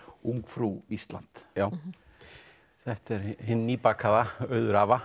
ungfrú Ísland þetta er hin nýbakaða Auður